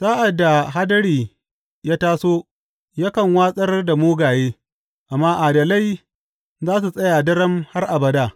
Sa’ad da hadiri ya taso, yakan watsar da mugaye, amma adalai za su tsaya daram har abada.